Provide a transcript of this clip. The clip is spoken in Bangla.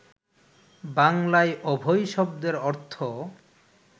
বাংলায় অভয় শব্দের অর্থ